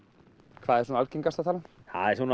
hvað er algengasta talan það er svona